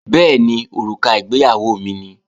Bẹ́ẹ̀ni, òrùka ìgbéyàwó mi ni